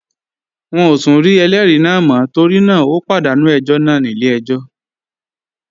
Wọn ò tún rí ẹlẹ́rìí náà mọ́ torí náà ó pàdánù ẹjọ́ náà nílé ẹjọ́